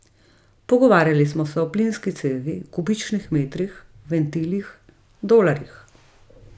Pogovarjali smo se o plinski cevi, kubičnih metrih, ventilih, dolarjih ...